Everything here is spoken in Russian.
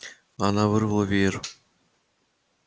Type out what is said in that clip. она вырвала веер